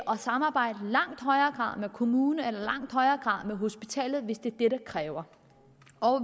og samarbejde med kommunen eller med hospitalet hvis det er det der kræves